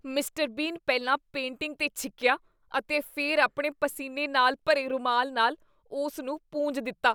Mister Bean ਪਹਿਲਾਂ painting 'ਤੇ ਛਿੱਕੀਆ ਅਤੇ ਫਿਰ ਆਪਣੇ ਪਸੀਨੇ ਨਾਲ ਭਰੇ ਰੁਮਾਲ ਨਾਲ ਉਸ ਨੂੰ ਪੂੰਝ ਦਿੱਤਾ ।